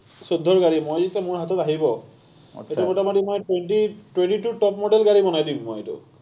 চৈধ্যৰ গাড়ী, মই যেতিয়া মোৰ হাতত আহিব, তেতিয়া মোটামুটি মই twenty, twenty two top model গাড়ী বনাই দিম মই এইটো।